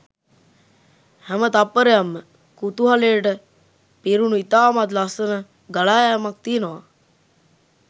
හැම තත්පරයක්ම කුතුහලට පිරුණු ඉතාමත් ලස්සන ගලායෑමක් තියෙනවා.